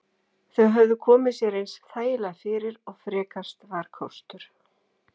Þau höfðu komið sér eins þægilega fyrir og frekast var kostur.